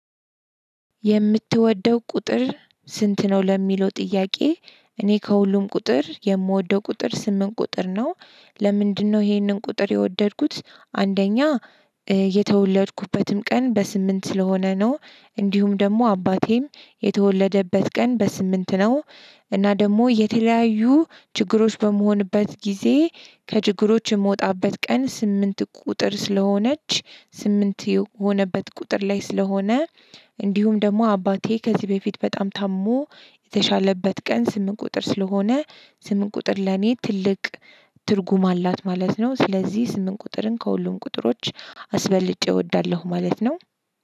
የምትወደው ቁጥር ስንት ነው ለሚለው ጥያቄ እኔ ከሁሉም ቁጥር የምወደው ቁጥር ስምንት ቁጥር ነው። ለምንድነው? ይሄንን ቁጥር የወደድኩት አንደኛ የተወለድኩበትም ቀን በስምንት ስለሆነ ነው። እንዲሁም ደግሞ አባቴም የተወለደበት ቀን በስምንት ነው። እና ደሞ የተለያዩ ችግሮች በምሆንበት ጊዜ ከችግሮች የምወጣበት ቀን ስምንት ቁጥር ስለሆነች ስምንት የሆነበት ቁጥር ላይ ስለሆነ። እንዲሁም ደሞ አባቴ ከዚህ በፊት በጣም ታሞ የተሻለበት ቀን ስምንት ቁጥር ስለሆነ ስምንት ቁጥር ለኔ ትልቅ ትርጉም አላት ማለት ነው። ስለዚህ ስምንት ቁጥርን ከሁሉም ቁጥሮች አስበልጬ እወዳለሁ ማለት ነው።